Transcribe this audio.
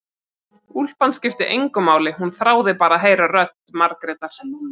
Úlpan skipti engu máli, hún þráði bara að heyra rödd Margrétar.